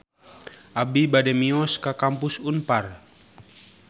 Abi bade mios ka Kampus Unpar